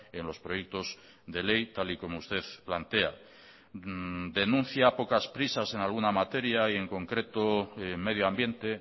en los proyectos de ley tal y como usted plantea denuncia pocas prisas en alguna materia y en concreto medioambiente